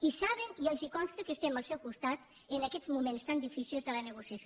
i saben i els consta que estem al seu costat en aquests moments tan difícils de la negociació